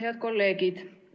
Head kolleegid!